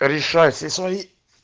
решай все свои